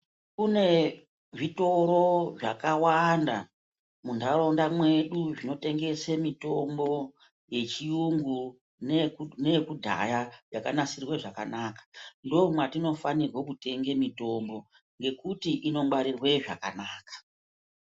Kune zvitoro zvakawanda munharaunda mwedu zvinotengese mitombo yechiyungu neyekudhaya yakanasirwe zvakanaka. Ndomwatinofanirwe kutenga mitombo nekuti inongwarirwe zvakanaka.